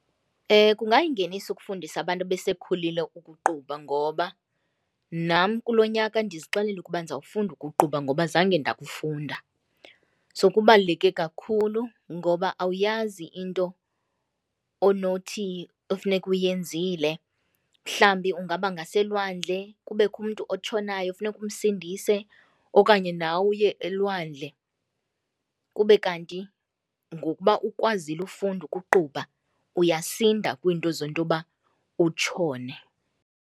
Kungayingeniso ukufundisa abantu abesekhulile ukuqubha ngoba nam kulo nyaka ndizixelele ukuba ndizawufunda ukuqubha ngoba zange ndakufunda. So kubaluleke kakhulu ngoba awuyaazi into onothi efuneka uyenzile, mhlawumbi ungaba ngaselwandle kubekho umntu otshonayo funeke umsindise okanye nawe uye elwandle kube kanti ngokuba ukwazile ukufunda ukuqubha uyasinda kwiinto zokuba utshone.